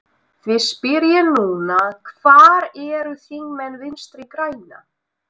Því spyr ég núna, hvar eru þingmenn Vinstri grænna?